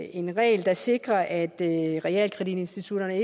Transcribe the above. en regel der sikrer at realkreditinstitutterne